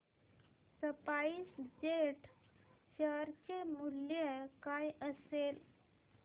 spice jet share चे मूल्य काय असेल